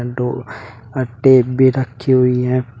अ tape भी रखी हुई है।